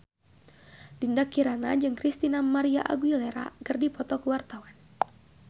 Dinda Kirana jeung Christina María Aguilera keur dipoto ku wartawan